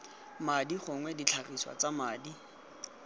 madi gongwe ditlhagiswa tsa madi